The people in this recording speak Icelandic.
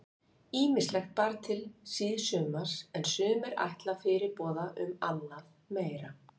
Ýmislegt bar til síðsumars er sumir ætla fyrirboða um annað meira.